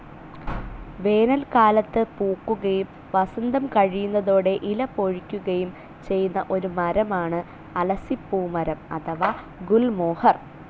വേനൽക്കാലത്ത് പൂക്കുകയും വസന്തം കഴിയുന്നതോടെ ഇല പൊഴിക്കുകയും ചെയ്യുന്ന ഒരു മരമാണ് അലസിപ്പൂമരം അഥവാ ഗുൽമോഹർ.